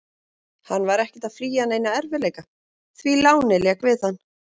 Hann var ekkert að flýja neina erfiðleika, því lánið lék við hann.